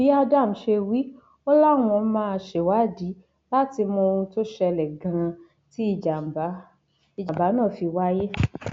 bí adam ṣe wí ọ láwọn máa ṣèwádìí láti mọ ohun tó ṣẹlẹ ganan tí ìjàmbá ìjàmbá náà fi wáyé